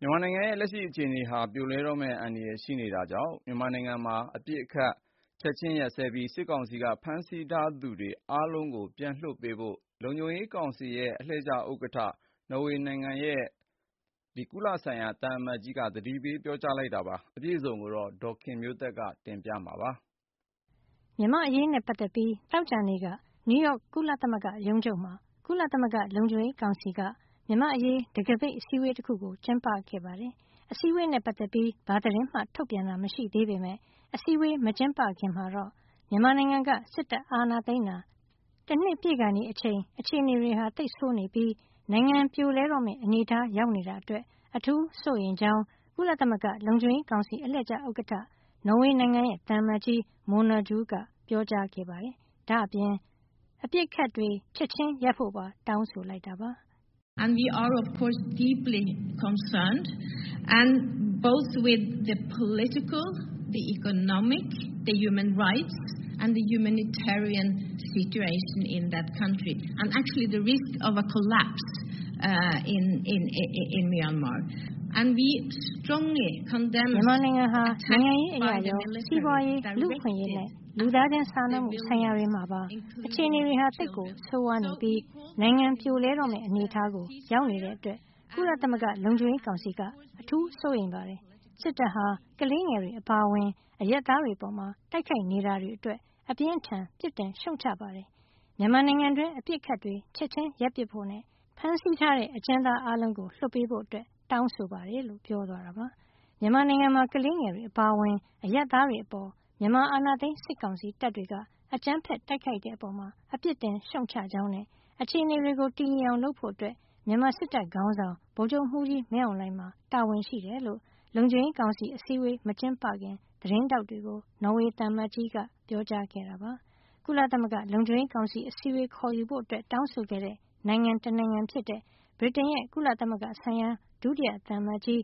မြန်မာနိုင်ငံရဲ့ လက်ရှိ အခြေနေဟာ ပြိုလဲတော့မယ့် အန္တရာယ်ရှိနေတာကြောင့် မြန်မာနိုင်ငံမှာ အပစ်အခတ်ချက်ချင်းရပ်စဲပြီး စစ်ကောင်စီက ဖမ်းထားသူအားလုံးကို ပြန်လွှတ်ပေးဖို့ကုလသမဂ္ဂလုံခြုံရေးကောင်စီ အလှည့်ကျဥက္ကဋ္ဌ နော်ဝေးနိုင်ငံ သံအမတ်ကြီးက ပြောကြားလိုက်ပါတယ်။ အပြည့်အစုံကို ဒေါ်ခင်မျိုးသက်က ပြောပြပေးမှာပါ။ မြန်မာ့အရေးနဲ့ ပတ်သက်ပြီး သောကြာနေ့က နယူးရောက်ရုံးချုပ်မှာ ကုလသမဂ္ဂလုံခြုံရေးကောင်စီက မြန်မာ့အရေး တံခါးပိတ်အစည်းအဝေးတခုကို ကျင်းပခဲ့တာဖြစ်ပါတယ်။အစည်းအဝေးနဲ့ ပတ်သက်ပြီး ဘာသတင်းမှထုတ်ပြန်တာ မရှိသေးပေမယ့် အစည်းအဝေးမကျင်းပခင်မှာတော့ မြန်မာနိုင်ငံက စစ်တပ်အာဏာသိမ်းတာ တနှစ်ပြည့်ခါနီး အချိန်အခြေနေတွေ သိပ်ဆိုးနေပြီး နိုင်ငံပြိုလဲတော့မယ့်အနေထား ရောက်နေတာအတွက် အထူးစိုးရိမ်ကြောင်းနဲ့ ကုလသမဂ္ဂလုံခြုံရေးကောင်စီ အလှည့်ကျဥက္ကဋ္ဌ နော်ဝေးနိုင်ငံရဲ့သံအမတ်ကြီး Mona Juul က ပြောကြားလိုက်တာပါ။ ဒါ့အပြင် အပစ်အခတ်တွေ ချက်ချင်းရပ်ပစ်ဖို့ ပါတောင်းဆိုလိုက်ပါတယ်။ " မြန်မာနိုင်ငံဟာ နိုင်ငံရေးအရေရော၊ စီးပွါးရေး၊ လူ့အခွင့်အရေးနဲ့ လူသားစာနာမှုဆိုင်ရာတွေမှာပါ အခြေနေသိပ်ဆိုးဝါးနေပြီး နိုင်ငံပြိုလဲတော့မယ့် အနေထားကို ရောက်နေတာကြောင့် ကုလသမဂ္ဂလုံခြုံရေးကောင်စီက အထူးစိုးရိမ်ပါတယ်။ စစ်တပ်ဟာ ကလေးငယ်တွေ အပါအဝင် အရပ်သားတွေအပေါ် တိုက်ခိုက်နေတာတွေအတွက် အပြင်းအထန်ပြစ်တင်ရှုတ်ချပါတယ်။ မြန်မာနိုင်ငံတွင်း အပစ်အခတ်တွေ ချက်ချင်းရပ်ပစ်ဖို့နဲ့နိုင်ငံရေးအကျဉ်းသားတွေကို လွှတ်ပေးဖို့တောင်းဆိုပါတယ်။ မြန်မာနိုင်ငံမှာ ခလေးငယ်တွေအပါအဝင် အရပ်သားတွေအပေါ် မြန်မာအာဏာသိမ်းစစ်ကောင်စီတပ်တွေက အကြမ်းဖက်တိုက်ခိုက်တဲ့အပေါ် ပစ်တင်ရှုံချကြောင်းနဲ့ အခြေအနေတွေကိုတည်ငြိမ်အောင်လုပ်ဖို့ မြန်မာစစ်တပ်ခေါင်းဆောင် ဗိုလ်ချုပ်မှုးကြီးမင်းအောင်လှိုင်မှာ တာဝန်ရှိတယ်လို့ လုံခြုံရေးကောင်စီ အစည်းဝေးမကျင်းပခင် သတင်းထောက်တွေကို နော်ဝေးသံအမတ်ကြီး Mona Juul ကပြောကြားခဲ့တာပါ။ ကုလသမဂ္ဂလုံခြုံရေးကောင်စီအစည်းအဝေး ခေါ်ယူဖို့ တောင်းဆိုခဲ့တဲ့နိုင်ငံတနိုင်ငံဖြစ်တဲ့ ဗြိတိန်နိုင်ငံရဲ့ ကုလသမဂ္ဂဆိုင်ရာ ဒုတိယသံအမတ်ကြီး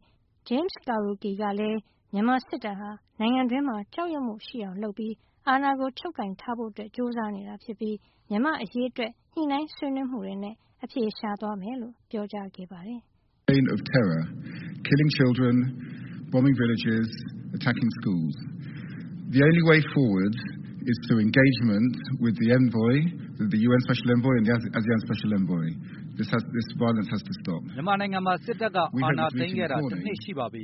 James Kariuki ကလည်း မြန်မာစစ်တပ်ဟာ နိုင်ငံတွင်းမှာ ကြောက်ရွံ့မှုရှိအောင်လုပ်ပြီး အာဏာကို ချုပ်ကိုင်ထားဖို့ ကြိုးစားနေတာ ဖြစ်ကြောင်းနဲ့မြန်မာ့အရေးအတွက် ညှိနှိုင်းဆွေးနွေးမှုတွေနဲ့ အဖြေရှာသွားမယ်လို့ ပြောပါတယ်။ " မြန်မာနိုင်ငံမှာ စစ်တပ်ကအာဏာသိမ်းခဲ့တာတနှစ်ရှိပါပြီ၊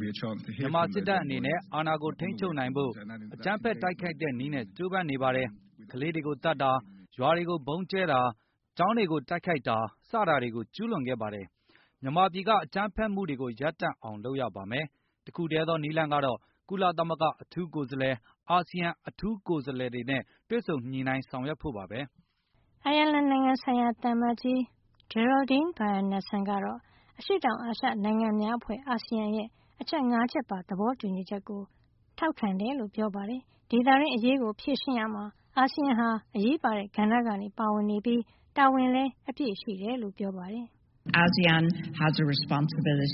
မြန်မာစစ်တပ်အနေနဲ့ အာဏာကိုထိန်းချုပ်နိုင်ဖို့ အကြမ်းတိုက်ခိုက်တဲ့နည်းနဲ့ ကြိုးပမ်းနေပါတယ်။ ခလေးတွေကိုသတ်တာ၊ ရွာတွေကိုဗုံးကြဲတာ၊ ကျောင်းတွေကိုတိုက်ခိုက်တာ စတာတွေကို ကျူးလွန်နေတာပါ။ မြန်မာပြည်က အကြမ်းဖက်မှုတွေကု ိရပ်တန့်အောင်လုပ်ရပါမယ်။ တခုတည်းသော နည်းလမ်းကတော့ ကလသမဂ္ဂအထူးကိုယ်စားလှယ်၊ အာစီယံအထူးကိုယ်စားလှယ် တွေနဲ့တွေ့ဆုံညှိနိုင်းဆောင်ရွက်ဖို့ပါဘဲ” အိုင်ယာလန်နိုင်ငံဆိုင်ရာ သံအမတ်ကြီး Geraldine Byrne Nsson ကတော့ အရှေ့တောင်အာရှနိုင်ငံများအဖွဲ့ (ASEAN) ရဲ့ အချက်ငါးချက်ပါ သဘောတူညီချက်ကို ထောက်ခံတဲ့အကြောင်း ပြောပါတယ်။ဒေသတွင်း အရေးကို ဖြေရှင်းရာမှာ အာဆီယံဟာ အရေးပါတဲ့ကဏ္ဍမှာ ပါဝင်နေပြီး တာဝန်လည်း အပြည့်ရှိတယ်လို့ပြောပါတယ်။ "အာဆီယံမှာ တာဝန်ရှိပါတယ်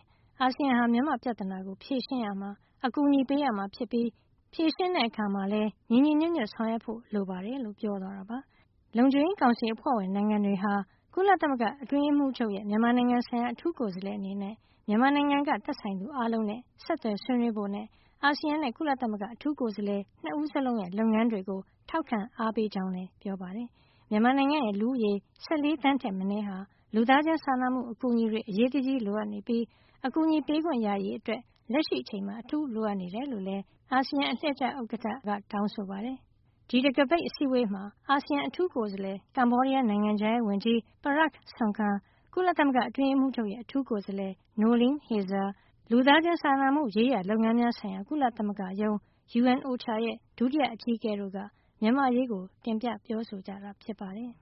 ။ အာဆီယံဟာ မြန်မာ့ပြဿနာကို ဖြေရှင်းရာမှာ အကူညီပေးရမှာ ဖြစ်ပြီး ဖြေရှင်းတဲ့အခါမှာလည်း ညီညီညွတ်ညွတ် ဆောင်ရွက်ဖို့ လိုပါတယ်" လုံခြုံရေးကောင်စီအဖွဲ့ဝင် နိုင်ငံတွေဟာ ကုလသမဂ္ဂ အတွင်းရေးမှူးချုပ်ရဲ့ မြန်မာနိုင်ငံဆိုင်ရာ အထူးကိုယ်စားလှယ်အနေနဲ့ မြန်မာနိုင်ငံက သက်ဆိုင်သူအားလုံးနဲ့ ဆက်သွယ်ဆွေးနွေးဖို့နဲ့ အာဆီယံနဲ့ ကုလသမဂ္ဂ အထူးကိုယ်စားလှယ်နှစ်ဦးလုံးရဲ့ လုပ်ငန်းတွေကို ထောက်ခံအားပေးတဲ့အကြောင်းလည်း ပြောပါတယ်။ မြန်မာနိုင်ငံ လူဦးရေ ၁၄ သန်းထက်မနည်းဟာ လူသားစာနာမှု အကူအညီတွေ အရေးတကြီး လိုအပ်နေပြီး အကူအညီပေးခွင့်ရရေးအတွက် လက်ရှိအချိန်မှာ အထူးလိုအပ်တယ်လို့လည်း သံအမတ် ကြီး Mona Juul က ပြောပါတယ်။ ဒီတံခါးပိတ်အစည်းအဝေးမှာ အာဆီယံအထူးကိုယ်စားလှယ်၊ ကမ္ဘောဒီးယားနိုင်ငံခြားရေးဝန်ကြီး Prak Sokhonn ၊ ကုလသမဂ္ဂအတွင်းရေးမှူးချုပ်ရဲ့ အထူးကိုယ်စားလှယ် Noeleen Heyzer ၊ လူသားစာနာမှုရေးရာ လုပ်ငန်းများဆိုင်ရာ ကုလသမဂ္ဂရုံး (UNOCHA) ရဲ့ ဒုတိယအကြီးအကဲတို့က မြန်မာ့အရေး တင်ပြပြောဆိုကြတာ ဖြစ်ပါတယ်။